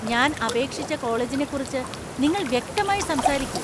ഞാൻ അപേക്ഷിച്ച കോളേജിനെക്കുറിച്ച് നിങ്ങൾ വ്യക്തമായി സംസാരിക്കു.